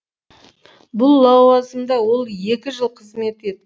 бұл лауазымда ол екі жыл қызмет ет